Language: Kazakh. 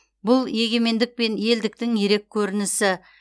бұл егемендік пен елдіктің ерек көрінісі